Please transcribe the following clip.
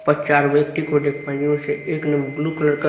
पर चार व्यक्ति को देख पा रहे हैं जिसमें एक ने ब्लू कलर का--